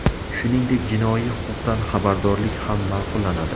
Shuningdek, jinoiy huquqdan xabardorlik ham ma’qullanadi.